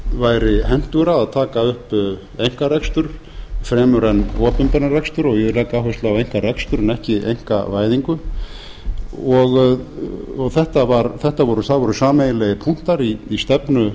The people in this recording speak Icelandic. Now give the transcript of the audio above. væri hentugra að taka upp einkarekstur fremur en opinberan rekstur og ég legg áherslu á einkarekstur en ekki einkavæðingu það voru sameiginlegir punktar í stefnu